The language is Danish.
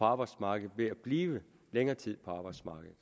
arbejdsmarkedet ved at blive længere tid på arbejdsmarkedet